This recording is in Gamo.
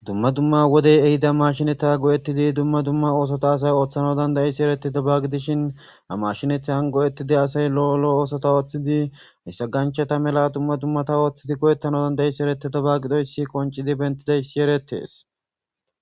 Dumma dumma wodey ehida mashinata go7ettidi dumma dumma oosota asay ooththano dandayisi ereti dabagidishin a mashinatan go7ettidi asay lo7olo oosota ooththidi issa ganchata mela dumma dummata ooththidi go7ettano danda7is ereti dabagidoyssi qoncidi bentidaysi erettees.